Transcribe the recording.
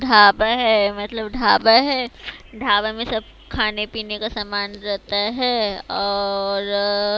ढाबा है मतलब ढाबा है ढाबा में सब खाने पीने का सामान रहता है और--